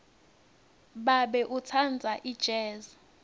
babe utsandza ijezi